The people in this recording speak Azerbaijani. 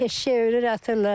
Eşək ölür atırlar.